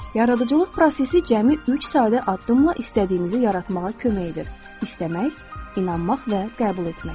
Yaradıcılıq prosesi cəmi üç sadə addımla istədiyinizi yaratmağa kömək edir: istəmək, inanmaq və qəbul etmək.